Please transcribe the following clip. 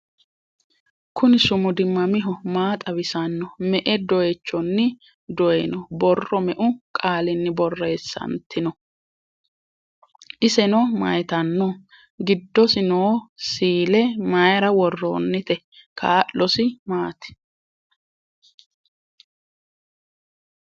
Kunni sumudi mamiho? Maa xawisanno? Me'e doyiichonni doyiinno? Borro meu qaalinni borreessanitinno? Isenno mayiittanno? Giddosi noo siille mayiira woroonnite? Kaa'losi maatti?